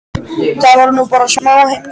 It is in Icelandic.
Það var nú bara smá heimsókn.